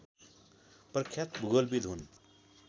प्रख्यात भूगोलविद् हुन्